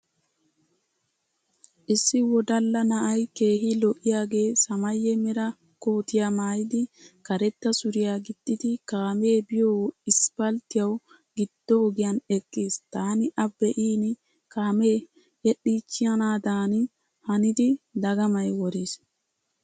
Issi wodalla na'ay keehi lo'iyaagee samaaye mera kootiya maayidi karetta suriya gixxidi kaamee biyo isppalttiyawu giddo ogiyan eqqiis. Taani a be'in kaame yedhdhiichchanaadan hanidi dagamay woriis.